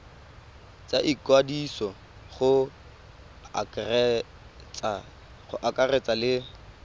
tsa ikwadiso go akaretsa le